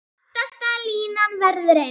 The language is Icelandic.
Aftasta línan verður eins.